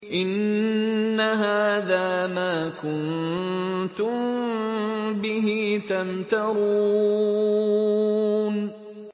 إِنَّ هَٰذَا مَا كُنتُم بِهِ تَمْتَرُونَ